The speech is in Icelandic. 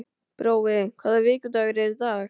Brói, hvaða vikudagur er í dag?